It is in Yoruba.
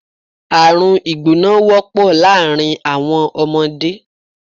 Àrùn ìgbóná wọ́pọ̀ láàárín àwọn ọmọdé